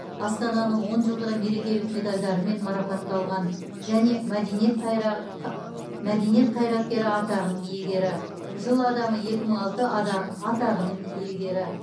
астананың он жылдығы мерекелік медальдарымен марапатталған және мәдениет қайраткері атағының иегері жыл адамы екі мың алты атағының иегері